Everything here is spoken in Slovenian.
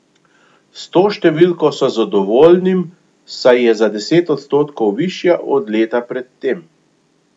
S to številko so zadovoljnim, saj je za deset odstotkov višja od leta pred tem.